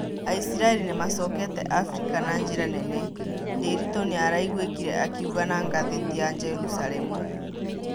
Aisiraeri nĩmacokete Afrika na njĩra nene, Ndiritu nĩaraigwĩkire akiũga na ngatheti ya Jerusalemu